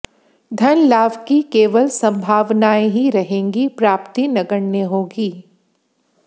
धन लाभ की केवल सम्भावनायें ही रहेंगी प्राप्ती नगण्य होगी